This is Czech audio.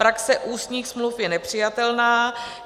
Praxe ústních smluv je nepřijatelná.